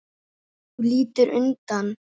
Þú lítur undan.